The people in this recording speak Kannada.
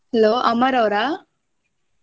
Hello ಅಮರ್ ಅವ್ರಾ?